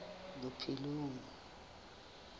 bophelong